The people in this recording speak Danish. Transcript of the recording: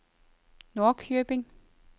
Norrköping